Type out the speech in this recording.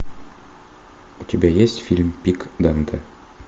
у тебя есть фильм пик данте